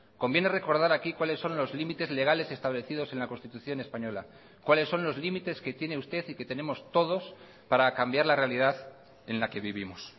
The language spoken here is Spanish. conviene recordar aquí cuáles son los límites legales establecidos en la constitución española cuáles son los límites que tiene usted y que tenemos todos para cambiar la realidad en la que vivimos